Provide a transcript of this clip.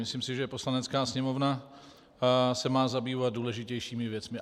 Myslím si, že Poslanecká sněmovna se má zabývat důležitějšími věcmi.